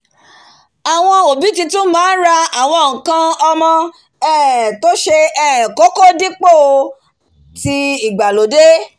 àwon òbí titun máá n ra àwon nkan omo um tó se um kókó dípò tii ìgbàlódé